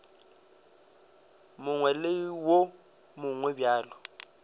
mongwe le wo mongwe bjalo